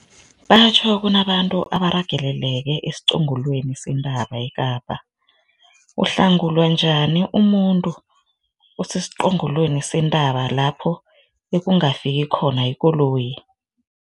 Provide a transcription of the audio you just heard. Batjhi kunabantu abarageleleke esiqongolweni sentaba eKapa. Uhlangulwa njani umuntu osesiqongolweni sentaba lapho ekungafiki khona ikoloyi?